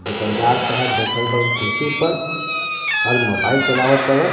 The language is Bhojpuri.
दुकानदार साहेब बइठल बाड़न कुर्सी पर आउर मोबाइल चलाव ताड़न.